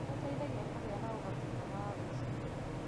nĩ gũteithagia kũgĩa na ũhoti mwega wa gwĩciria.